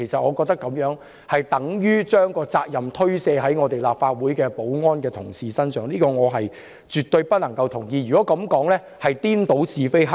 我覺得這樣等於把責任推卸至立法會保安人員身上，這點我絕對不能認同，因為這是顛倒是非黑白。